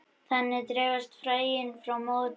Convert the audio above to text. Þannig dreifast fræin frá móðurplöntunni.